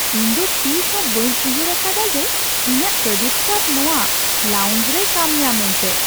ᱤᱧ ᱫᱚᱛᱤᱥ ᱦᱚᱸ ᱵᱟᱹᱧ ᱩᱭᱦᱟᱹᱨ ᱟᱠᱟᱫᱼᱟ ᱡᱮ ᱤᱧᱟᱹᱜ ᱠᱨᱮᱰᱤᱴ ᱠᱟᱨᱰ ᱱᱚᱶᱟ ᱞᱟᱣᱩᱱᱡ ᱨᱮᱭ ᱠᱟᱹᱢᱤᱭᱟ ᱢᱮᱱᱛᱮ !